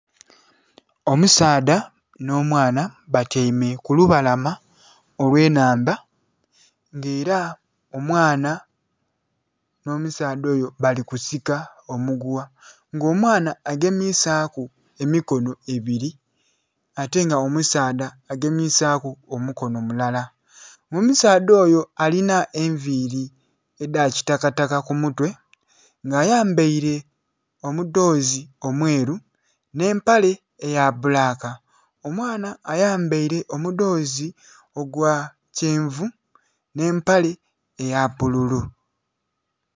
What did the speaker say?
Omusaadha nh'omwana batyaime ku lubalama olw'ennhandha nga ela omwana nh'omusaadha oyo bali kusika omugugha nga omwana agemisaaku emikono ebili, ate nga omusaadha agemisaaku omukono mulala. Omusaadha oyo alinha enviili edha kitakataka ku mutwe nga ayambaile omudhoozi omweru nh'empale eya bbulaka, omwana ayambaile omudhoozi ogwa kyenvu nh'empale eya bbululu.